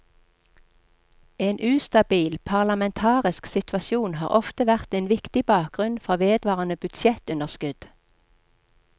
En ustabil parlamentarisk situasjon har ofte vært en viktig bakgrunn for vedvarende budsjettunderskudd.